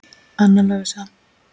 Anna Lovísa.